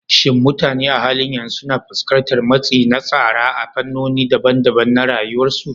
Shin mutane a halin yanzu suna fuskantar matsi na tsara a fannoni daban-daban na rayuwarsu?